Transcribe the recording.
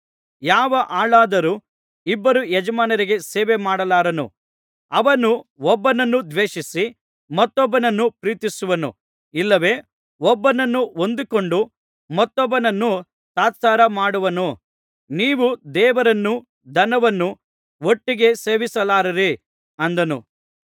ಯಾವ ಆಳಾದರೂ ಇಬ್ಬರು ಯಜಮಾನರಿಗೆ ಸೇವೆಮಾಡಲಾರನು ಅವನು ಒಬ್ಬನನ್ನು ದ್ವೇಷಿಸಿ ಮತ್ತೊಬ್ಬನನ್ನು ಪ್ರೀತಿಸುವನು ಇಲ್ಲವೆ ಒಬ್ಬನನ್ನು ಹೊಂದಿಕೊಂಡು ಮತ್ತೊಬ್ಬನನ್ನು ತಾತ್ಸಾರಮಾಡುವನು ನೀವು ದೇವರನ್ನೂ ಧನವನ್ನೂ ಒಟ್ಟಿಗೆ ಸೇವಿಸಲಾರಿರಿ ಅಂದನು